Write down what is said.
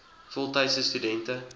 voltydse stu dente